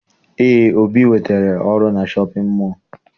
Eé, Obi nwetara ọrụ na shọpịn mọọ